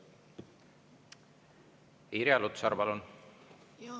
Irja Lutsar, palun!